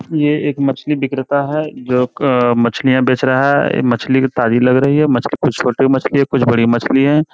ये एक मछली विक्रेता है। जो मछलिया बेच रहा है। ये मछली ताज़ी लग रही है। मछली कुछ छोटी मछली है। कुछ बड़ी मछली है।